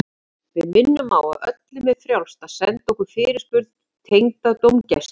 Við minnum á að öllum er frjálst að senda okkur fyrirspurn tengda dómgæslu.